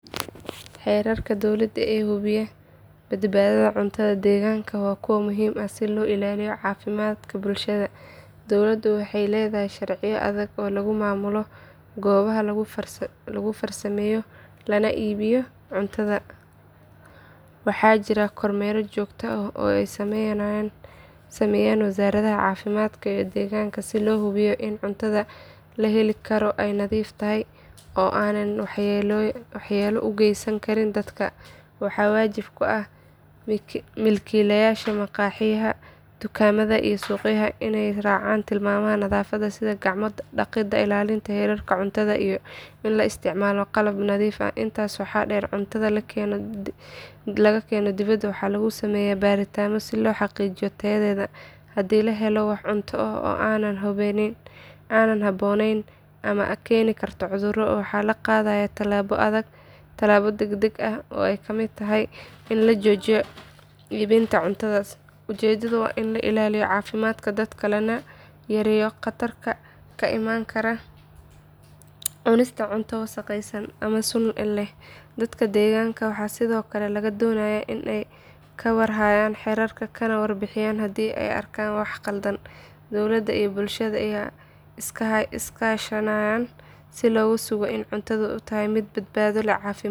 Xeerarka dowlada ee hubiya badbaadada cuntada deegaankaaga waa kuwo muhiim ah si loo ilaaliyo caafimaadka bulshada. Dowladu waxay leedahay sharciyo adag oo lagu maamulo goobaha lagu farsameeyo lana iibiyo cuntada. Waxaa jira kormeer joogto ah oo ay sameeyaan wasaaradaha caafimaadka iyo deegaanka si loo hubiyo in cuntada la heli karo ay nadiif tahay oo aanay waxyeelo u geysan karin dadka. Waxaa waajib ku ah milkiilayaasha maqaaxiyaha, dukaamada, iyo suuqyada inay raacaan tilmaamaha nadaafadda sida gacmo dhaqidda, ilaalinta heerkulka cuntada, iyo in la isticmaalo qalab nadiif ah. Intaas waxaa dheer, cuntada la keeno dibadda waxaa lagu sameeyaa baaritaanno si loo xaqiijiyo tayadeeda. Haddii la helo wax cunto ah oo aan habboonayn ama keeni karta cudurro, waxaa la qaadayaa tallaabo degdeg ah oo ay ka mid tahay in la joojiyo iibinta cuntadaas. Ujeedadu waa in la ilaaliyo caafimaadka dadka, lana yareeyo khatarta ka iman karta cunista cunto wasakhaysan ama sun leh. Dadka deegaanka waxaa sidoo kale laga doonayaa inay ka war hayaan xeerarkan, kana warbixiyaan haddii ay arkaan wax khaldan. Dowladda iyo bulshada ayaa iskaashanaya si loo sugo in cuntadu ay tahay mid badbaado leh, caafimaad .